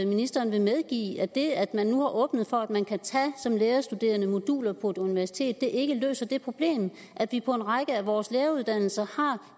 ministeren vil medgive at det at man nu har åbnet for at man som lærerstuderende moduler på et universitet ikke løser det problem at vi på en række af vores læreruddannelser har